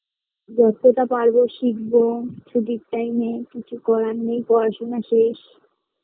যতটা পারবো শিখবো ছুটির time এ কিছু করার নেই পড়াশোনা শেষ